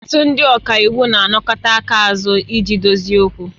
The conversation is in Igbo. Ọtụtụ ndị ọka iwu na-anakọta aka azu iji dozie okwu